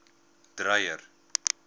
dreyer